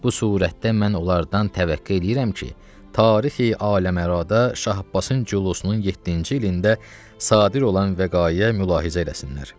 Bu surətdə mən onlardan təvəqqə eləyirəm ki, tarixi aləm-ara Şah Abbasın culusunun yeddinci ilində sadir olan vəqayə mülahizə eləsinlər.